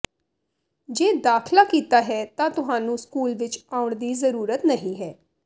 ਜੇ ਦਾਖਲਾ ਕੀਤਾ ਹੈ ਤਾਂ ਤੁਹਾਨੂੰ ਸਕੂਲ ਵਿਚ ਆਉਣ ਦੀ ਜ਼ਰੂਰਤ ਨਹੀਂ ਹੈ